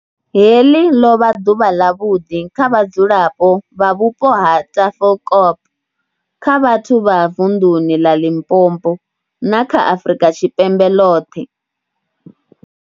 Heḽi ḽo vha ḓuvha ḽavhuḓi kha vhadzulapo vha vhupo ha Tafelkop, kha vhathu vha vunḓuni ḽa Limpopo, na kha Afrika Tshipembe ḽoṱhe.